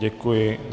Děkuji.